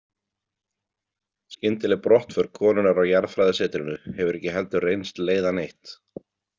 Skyndileg brottför konunnar á jarðfræðisetrinu hefur ekki heldur reynst leiða neitt.